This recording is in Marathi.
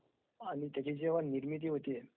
आणि त्याची जेव्हा निर्मिती होते..